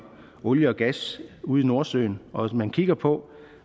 olie og gas ude i nordsøen og man kigger på